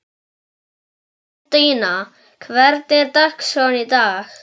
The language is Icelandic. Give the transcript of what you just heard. Guðmundína, hvernig er dagskráin í dag?